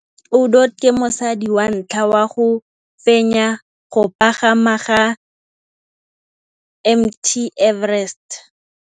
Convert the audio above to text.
Cathy Odowd ke mosadi wa ntlha wa go fenya go pagama ga Mt Everest.